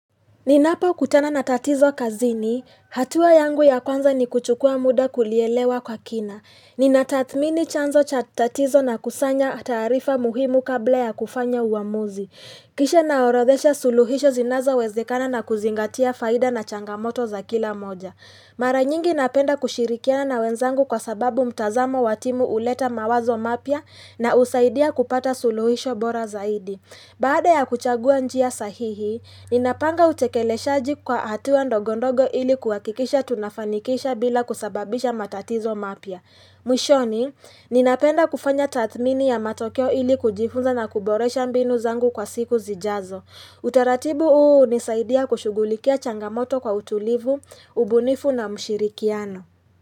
Ninapo kutana na tatizo kazini, hatua yangu ya kwanza ni kuchukua muda kulielewa kwa kina. Ninatathmini chanzo chatatizo na kusanya taarifa muhimu kabla ya kufanya uamuzi. Kisha naorodhesha suluhisho zinazo wezekana na kuzingatia faida na changamoto za kila moja. Mara nyingi napenda kushirikiana na wenzangu kwa sababu mtazamo watimu huleta mawazo mapya na husaidia kupata suluhisho bora zaidi. Baada ya kuchagua njia sahihi, ninapanga utekeleshaji kwa hatua ndogondogo ili kuhakikisha tunafanikisha bila kusababisha matatizo mapya. Mwishoni, ninapenda kufanya tathmini ya matokeo ili kujifunza na kuboresha mbinu zangu kwa siku zijazo. Utaratibu huu hunisaidia kushugulikia changamoto kwa utulivu, ubunifu na mshirikiano.